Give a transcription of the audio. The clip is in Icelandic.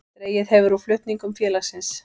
Dregið hefur úr flutningum félagsins